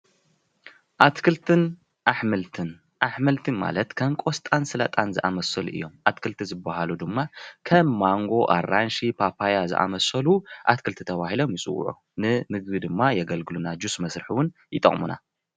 ኣትክልትን ኣሕምልትን፡- ኣሕምልቲ ማለት ከም ቆስጣን ሰላጣን ዝኣምሰሉ እዮም፡፡ ኣትክልቲ ዝባሃሉ ድማ ከም ማንጎ፣ ኣራንሺ፣ ፓፐዮ ዝኣምሰሉ ኣትክልቲ ተባሂሎም ይፅውዑ። ንምግቢ ድማ የገልግሉና፡፡ ጁስ መስርሒ እውን ይጠቅሙና፡፡